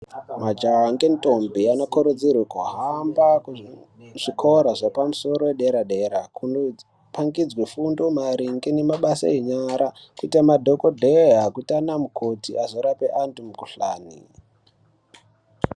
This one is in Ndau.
Majaha nge ndombi ano kurudzirwe kuhamba ku zvikora zvepa musoro ye dera dera kuno pangidzwe fundo maringe ne mabasa enyara kuite madhokodheya kuita ana mukoti azo rape antu mu kuhlani.